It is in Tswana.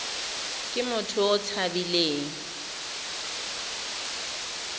ke motho yo o tshabileng